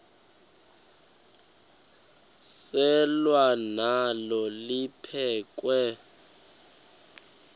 selwa nalo liphekhwe